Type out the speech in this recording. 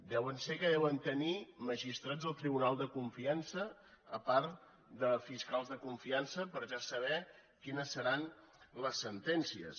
deu ser que deuen tenir magistrats al tribunal de confiança apart de fiscals de confiança per ja saber quines seran les sentències